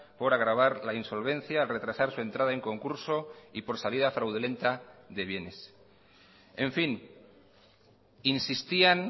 por agravar la insolvencia al retrasar su entrada en concurso y por salida fraudulenta de bienes en fin insistían